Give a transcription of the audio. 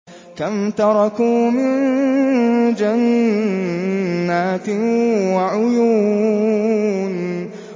كَمْ تَرَكُوا مِن جَنَّاتٍ وَعُيُونٍ